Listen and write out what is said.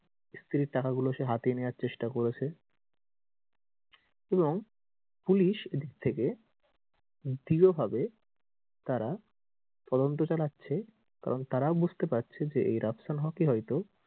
স্ত্রীর টাকা গুলা সে হাতিয়ে নেয়ার চেষ্টা করেছে এবং পুলিশ এদিক থেকে দৃঢ়ভাবে তারা তদন্ত চালাচ্ছে এবং তারাও বুজতে পারছে যে এই রাফসান হক ই হয়তো,